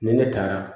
Ni ne taara